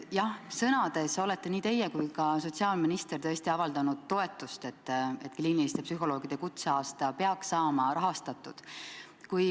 Jah, sõnades olete nii teie kui on ka sotsiaalminister tõesti avaldanud toetust, et kliiniliste psühholoogide kutseaasta peaks saama rahastatud.